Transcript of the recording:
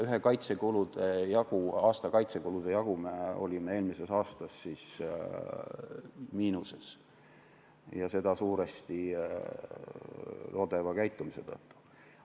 Ühe aasta kaitsekulude jagu olime eelmisel aastal miinuses ja seda suuresti lodeva käitumise tõttu.